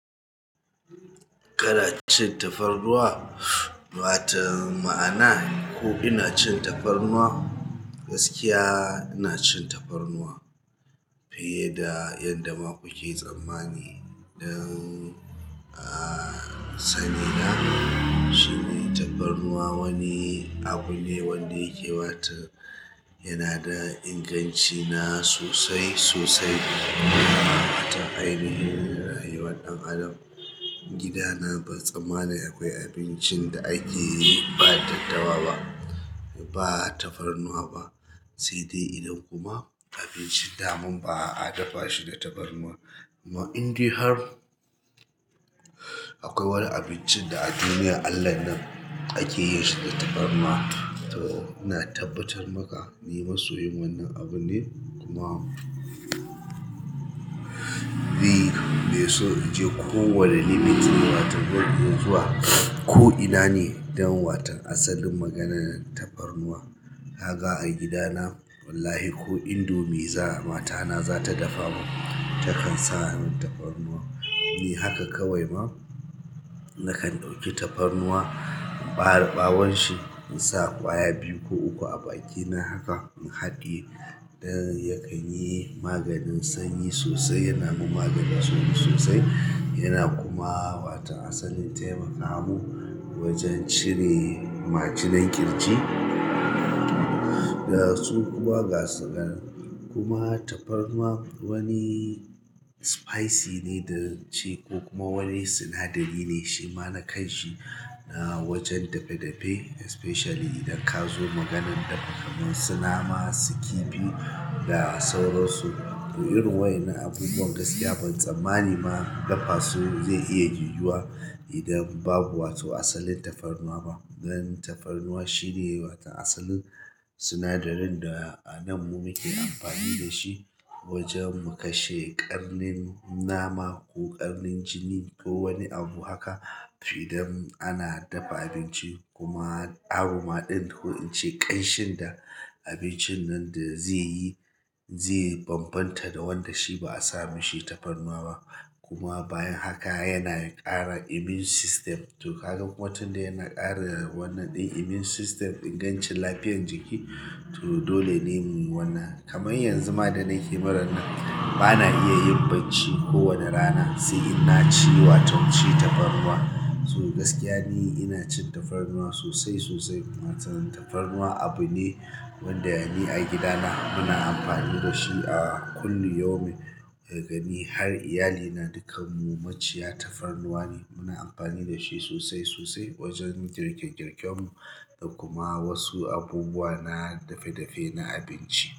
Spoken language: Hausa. Kana cin tafarnuwa? Wato ma'ana ko ina cin tafarnuwa. Gaskiya ina cin tafarnuwa fiye da yadda ma kuke tsammani dan, aaa, sani na, shi ne tafarnuwa wani abu ne wanda yake bata yana da inganci na sosai sosai. Wato ainihin rayuwar ɗan adam. Gidana batsammani akwai abincin da ake yi ba daddawa ba, ba tafarnuwa ba. Sai dai idan kuma abincin daman ba a dafa shi da tafarnuwa. Amma in dai har akwai wani abincin da a duniya Allah nan ake yi shi da tafarnuwa. To ina tabbatar maka ni masoyi wannan abunne kuma. Me so ya je ko wani limit wato zan iya zuwa ko ina ne don waton asalin maganan tafarnuwa. Ka ga a gida wallahi ko indomie mata ta za ta dafamin ta kan sa min tafarnuwa. Ni haka kawai ma nakan ɗauki tafarnuwa, in ɓare ɓawon shi in sa ƙwaya biyu ko uku a baki na haka in haɗiye don ya kan yi maganin sanyi sosai. Yana mun maganin sanyi sosai. Yana kuma waton asalin taimaka mun wajen cire majinan ƙirji. Kuma ga su nan, kuma tafarnuwa wani spice ne ko kuma wani sinadari ne shi ma na kanshi na wajen dafe-dafe especially idan ka zo maganan dafe-dafen su nama su kifi da sauransu irin waƴannan abubuwan gaskiya ban tsammani ma dafa su zai iya yiwuwa idan babu wato asalin tafarnuwa ba dan tafarnuwa shi ne waton asalin sinadarin da a nan mu muke amfani da shi wajen mu kashe ƙarnin nama ko ƙarnin jini ko wani abu haka. Idan ana dafa abinci kuma aroma ɗin ko in ce ƙanshin da abincin nan da zai yi zai bambanta da wanda shi ba a sa mishi tafarnuwa ba. Kuma bayan haka yana ƙara immune system. To kaga kuma tunda yana ƙara wannan ɗin immune system ingancin lafiyar jiki to dole ne mu yi wannan. Kamar yanzu ma da nake muran nan ba na iya yin bacci kowane rana sai in na ci wato shi tafarnuwa. To gaskiya ne ina cin tafarnuwa sosai sosai. Tafarnuwa abu ne wanda ni a gidana muna amfani da shi a kullu yaumun. Daga ni har iyalina dukanmu maciya tafarnuwa ne. Muna amfani da shi sosai sosai wajen girkir-girkemmu da kuma wasu abubuwa na dafe-dafe na abinci.